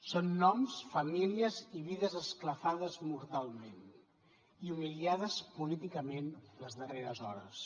són noms famílies i vides esclafades mortalment i humiliades políticament les darreres hores